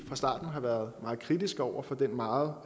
fra starten har været meget kritiske over for den meget